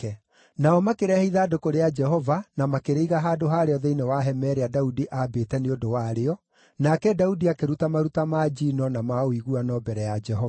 Nao makĩrehe ithandũkũ rĩa Jehova na makĩrĩiga handũ harĩo thĩinĩ wa hema ĩrĩa Daudi aambĩte nĩ ũndũ warĩo, nake Daudi akĩruta maruta ma njino na ma ũiguano mbere ya Jehova.